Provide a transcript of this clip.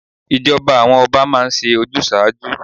Ìjọba àwọn Ọba máa ń ṣe ojúsàájú.